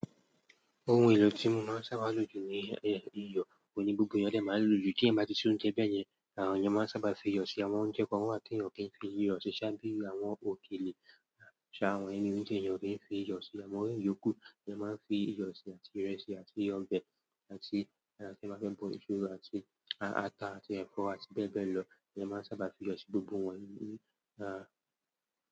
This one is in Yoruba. Ohun èlò tí mo máa ń sábà lò jù ní ìyọ̀ òhun ni gbogbo eeyan dẹ́ maa n lójú. Tí ẹ̀eyan bá ti ṣe oúnjẹ bẹ́yẹn, àwọn èèyàn máa ń sábà fi iyọ̀ sí àwọn oúnjẹ kan wà ti èèyàn o kí ń fi iyọ̀ sí i. Boyá bí i àwọn òkèlè ṣá àwọn èèyàn o kin fi iyọ̀ síbe. E maa ran yòókù e máa ń fi iyọ̀ sí àti ìrẹsì àti ọbẹ̀ àti tí ẹ bá fẹ́ bọ iṣu àti ata àti ẹfọ̀ àti bẹ́ẹ̀ bẹ́ẹ̀ lọ, èeyàn máa ń sábà fi iyọ̀ sí gbogbo wọ́n ní.